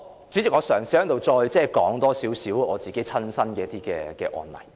主席，我嘗試在此多說少許我的親身接觸的案例。